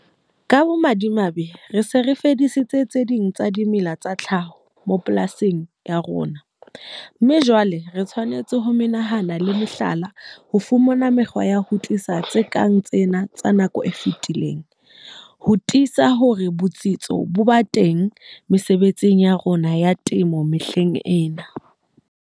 Ka bomadimabe, re se re fedisitse tse ding tsa dimela tsa tlhaho mapolasing a rona, mme jwale re tshwanetse ho menahana le mehlala ho fumana mekgwa ya ho tlisa tse kang tsena tsa nako e fetileng, ho tiisa hore botsitso bo ba teng mesebetsing ya rona ya temo mehleng ena.